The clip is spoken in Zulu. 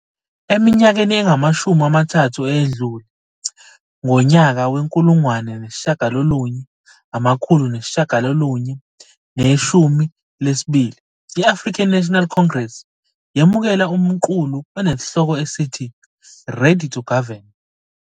Eminyakeni engamashumi amathathu eyedlule, ngonyaka we-1992, iAfrican National Congress yemukela umqulu onesihloko esithi 'Ready to Govern'.